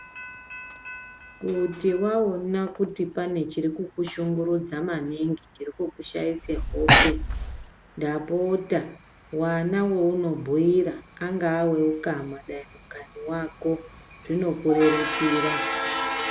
Kuti waona kuti pane chiri kuku shungurudza maningi chiri kukushaise hope ndapota wana waunobhiira ungawa weukama zvinokurerukira.